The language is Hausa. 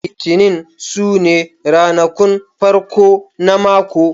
Litinin su ne ranakun farko na mako